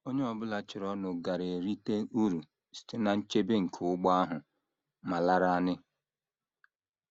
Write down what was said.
Onye ọ bụla chọrọnụ gaara erite uru site ná nchebe nke ụgbọ ahụ ma lanarị.